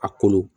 A kolo